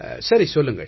சரி சொல்லுங்கள்